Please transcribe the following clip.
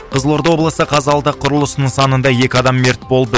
қызылорда облысы қазалыда құрылыс нысанында екі адам мерт болды